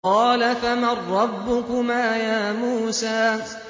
قَالَ فَمَن رَّبُّكُمَا يَا مُوسَىٰ